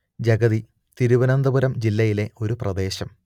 ജഗതി തിരുവനന്തപുരം ജില്ലയിലെ ഒരു പ്രദേശം